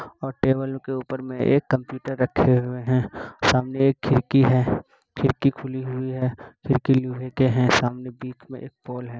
और टेबल के ऊपर मे एक कंप्युटर रखे हुए हैं। सामने एक खिड़की है। खिड़की खुली हुई है। खिड़की लोहे के हैं। सामने बीच में एक पोल है।